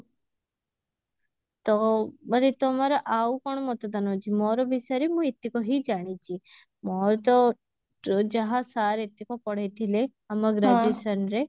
ତ ବୋଧେ ତମର ଆଉ କଣ ମତଦାନ ଅଛି ମୋର ବିଷୟରେ ମୁଁ ଏତିକ ହିଁ ଜାଣିଛି ମୋର ତ ଯାହା sir ଏତିକ ପଢେଇଥିଲେ ଆମ graduation ରେ